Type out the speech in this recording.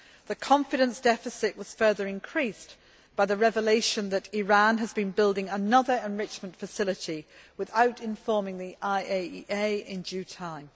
The confidence deficit was further increased by the revelation that Iran has been building another enrichment facility without informing the IAEA in due time.